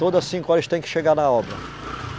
Toda cinco horas eles têm que chegar na obra.